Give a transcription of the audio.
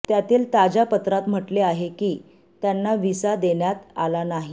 त्यातील ताज्या पत्रात म्हटले आहे की त्यांना व्हिसा देण्यात आला नाही